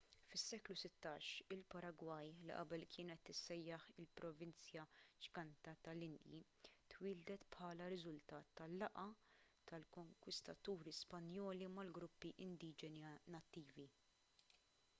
fis-seklu 16 il-paragwaj li qabel kienet tissejjaħ il-provinzja ġganta tal-indji twieldet bħala riżultat tal-laqgħa tal-konkwistaturi spanjoli mal-gruppi indiġeni nattivi